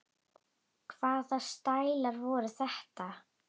Hvaða stælar voru þetta?